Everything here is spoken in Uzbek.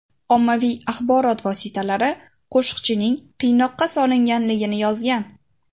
Ommaviy axborot vositalari Qoshiqchining qiynoqqa solinganligini yozgan.